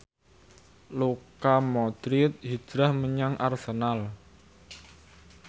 Luka Modric hijrah menyang Arsenal